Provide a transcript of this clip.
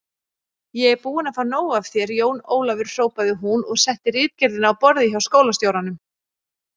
Ég er búin að fá nóg af þér, Jón Ólafur hrópaði hún og setti ritgerðina á borðið hjá skólastjóranum.